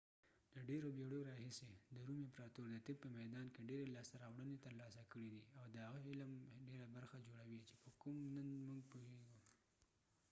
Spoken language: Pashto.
د ډیرو بیړیو راهیسی د روم امپراتور د طب په میدان کی ډیری لاسته راوړنی ترلاسه کړی دي او د هغه علم ډیره برخه جوړوي چي په کوم نن موږ پوهیږو